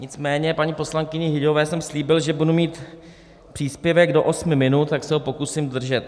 Nicméně paní poslankyni Hyťhové jsem slíbil, že budu mít příspěvek do osmi minut, tak se ho pokusím držet.